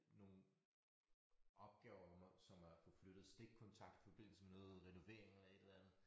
Nogle opgaver hvor man som er at få flyttet stikkontakt forbindelse med noget renovering eller et eller andet